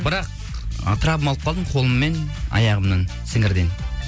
бірақ травма алып қалдым қолыммен аяғымнан сіңірден